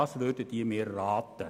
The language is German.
Was würden Sie mir raten?